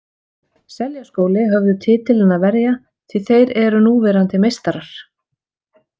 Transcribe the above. Seljaskóli höfðu titilinn að verja því þeir eru núverandi meistarar.